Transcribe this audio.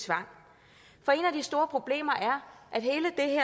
store problemer